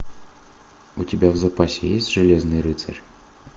у тебя в запасе есть железный рыцарь